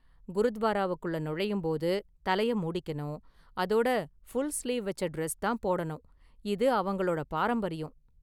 குருத்வாராவுக்குள்ள நுழையும் போது தலைய மூடிக்கணும், அதோட ஃபுல் ஸ்லீவ் வெச்ச டிரஸ் தான் போடணும், இது அவங்களோட பாரம்பரியம்.